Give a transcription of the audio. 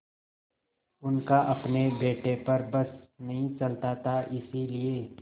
उनका अपने बेटे पर बस नहीं चलता था इसीलिए